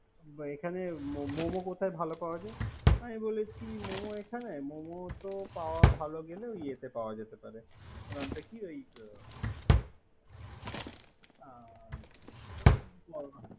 এখানে মোমে কোথায় ভালো পাওয় যায়। আমি বলেছি মোমে এখানে। মোমো ভালো পাওয়া গেলে ইয়াতে পাওয়া যেতে পারে। নামটা কি ওই।